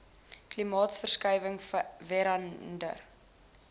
klimaatsverskuiwinhg vera nder